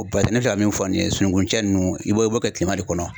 O ne filɛ ka min fɔ nin ye, sunungun cɛ ninnu i b'o i b'o kɛ tilema de kɔnɔ